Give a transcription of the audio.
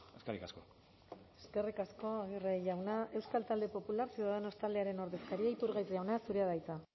eskerrik asko eskerrik asko aguirre jauna euskal talde popular ciudadanos taldearen ordezkaria iturgaiz jauna zurea da hitza